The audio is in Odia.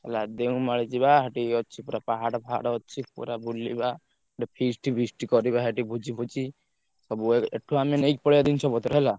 ହେଲା ଦେଓମାଳି ଯିବା ସେଠି ଅଛି ପୁରା ପାହାଡ ଫାହାଡ଼ ଅଛି ପୁରା ବୁଲିବା, ଗୋଟେ feast feast କରିବା ସେଠି ଭୋଜିଫୋଜି, ସବୁ ଆଗ ଏଠୁ ଆମେ ନେଇ ପଳେଇବା ଜିନିଷ ପତ୍ର ହେଲା।